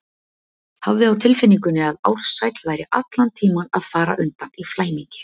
Hafði á tilfinningunni að Ársæll væri allan tímann að fara undan í flæmingi.